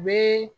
U bɛ